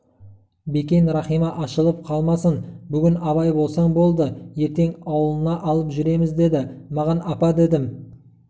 бекен рахима ашылып қалмасын бүгін абай болсаң болды ертең аулына алып жүреміз деді маған апа дедім